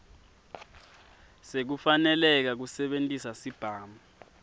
sekufaneleka kusebentisa sibhamu